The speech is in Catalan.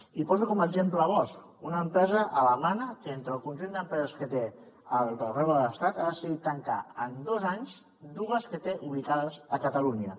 i poso com a exemple bosch una empresa alemanya que d’entre el conjunt d’empreses que té arreu de l’estat ha decidit tancar en dos anys dues que té ubicades a catalunya